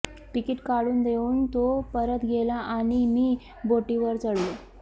ticket काढून देऊन तो परत गेला आणि मी बोटीवर चढलो